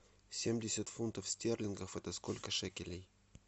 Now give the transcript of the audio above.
семьдесят фунтов стерлингов это сколько шекелей